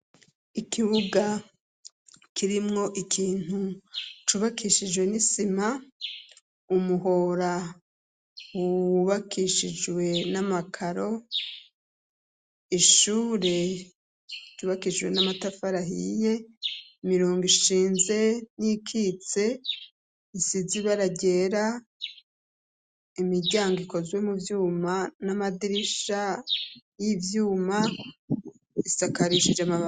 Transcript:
Ikibuga kirimwo ikintu cubakishijwe n'isima, umuhora wubakishijwe n'amakaro, ishure ryubakishijwe n'amatafari ahiye, imirongo ishinze n'iyikitse isize ibara ryera, imiryango ikozwe mu vyuma n'amadirisha y'ivyuma isakarishije amabati.